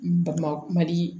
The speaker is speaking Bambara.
N ba kumali